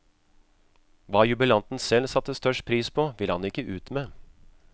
Hva jubilanten selv satte størst pris på, ville han ikke ut med.